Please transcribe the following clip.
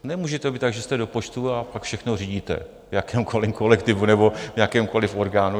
Nemůže to být tak, že jste do počtu a pak všechno řídíte, v jakémkoliv kolektivu nebo v jakémkoliv orgánu.